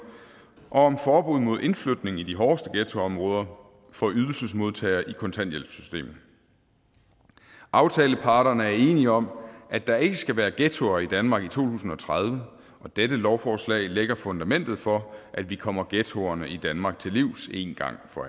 og om forbud mod indflytning i de hårdeste ghettoområder for ydelsesmodtagere i kontanthjælpssystemet aftaleparterne er enige om at der ikke skal være ghettoer i danmark i to tusind og tredive og dette lovforslag lægger fundamentet for at vi kommer ghettoerne i danmark til livs en gang for